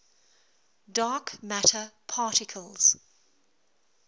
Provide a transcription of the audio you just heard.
dark matter particles